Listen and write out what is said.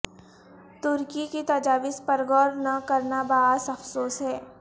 ترکی کی تجاویز پر غور نہ کرنا باعث افسوس ہے